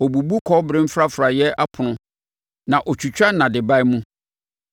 Ɔbubu kɔbere mfrafraeɛ apono na ɔtwitwa nnadeban mu.